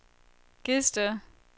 Gedsted